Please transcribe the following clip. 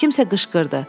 Kimsə qışqırdı.